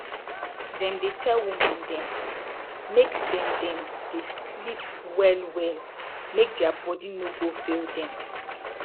dem dey tell woman dem make dem dem dey sleep well well make dia bodi no go fail dem